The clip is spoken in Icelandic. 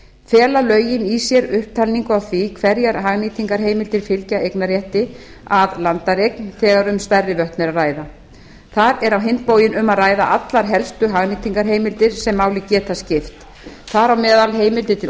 fela lögin í sér upptalningu á því hverjar hagnýtingarheimildir fylgi eignarrétti af landareign þegar um stærri vötn er að ræða þar er á hinn bóginn um að ræða allar helstu hagnýtingarheimildir sem máli geta skipt þar á meðal heimildir til